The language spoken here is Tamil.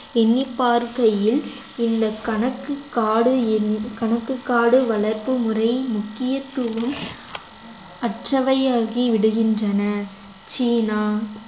எண்ணிப் பார்க்கையில் இந்த கணக்கு காடு என்~ கணக்குக்காடு வளர்ப்பு முறை முக்கியத்துவம் அற்றவையாகி விடுகின்றன சீனா